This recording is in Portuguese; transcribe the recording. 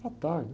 Era tarde.